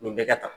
Nin bɛɛ ka kan